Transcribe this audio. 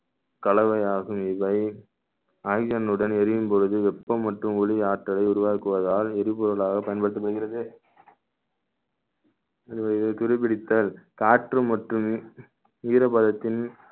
கலவையாகும் இவை oxygen னுடன் எரியும் பொழுது வெப்பம் மற்றும் ஒளி ஆற்றலை உருவாக்குவதால் எரிபொருளாக பயன்படுத்தி வருகிறது இது துருப்பிடித்தல் காற்று மற்றும் ஈரப்பதத்தின்